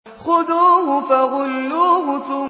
خُذُوهُ فَغُلُّوهُ